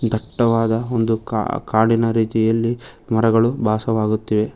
ದಟ್ಟವಾದ ಒಂದು ಕಾ ಕಾಡಿನ ರೀತಿಯಲ್ಲಿ ಮರಗಳು ಬಾಸವಾಗುತ್ತಿವೆ.